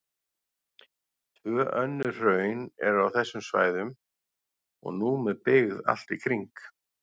Tvö önnur hraun eru á þessum svæðum og nú með byggð allt í kring.